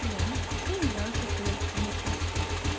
бля я не знаю что сказать потому что